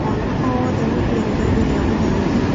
Mwana o wothe nĩ eriragĩria gũthoma.